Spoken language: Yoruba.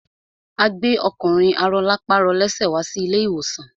A gbẹ́ ọkùnrin arọlápàrọlẹ́sẹ̀ wá sí ilé ìwòsàn.